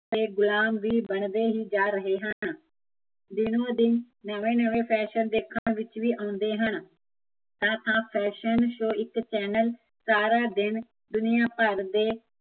ਗੁਲਾਮ ਵੀ ਬਣਦੇ ਹੀਂ ਜਾਂ ਰਹੇ ਹਨ ਦਿਨੋ ਦਿਨ ਨਵੇ ਨਵੇ ਫੈਸ਼ਨ ਦੇਖਣ ਵਿੱਚ ਵੀ ਆਉਂਦੇ ਹਨ ਤਾਂ ਆਹ ਇੱਕ ਸਾਰਾ ਦਿਨ, ਦੁਨੀਆ ਭਰ ਦੇ